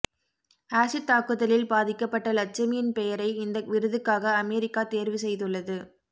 acid தாக்குதலில் பாதிக்கப்பட்ட லட்சுமியின் பெயரை இந்த விருதுக்காக அமெரிக்கா தேர்வு செய்துள்ளது